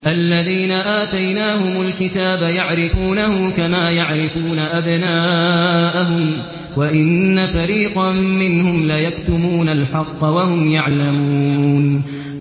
الَّذِينَ آتَيْنَاهُمُ الْكِتَابَ يَعْرِفُونَهُ كَمَا يَعْرِفُونَ أَبْنَاءَهُمْ ۖ وَإِنَّ فَرِيقًا مِّنْهُمْ لَيَكْتُمُونَ الْحَقَّ وَهُمْ يَعْلَمُونَ